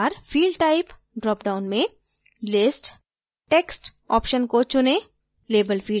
इस बार field type dropdown में list text option को चुनें